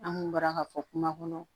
An kun bɔra ka fɔ kuma kɔnɔ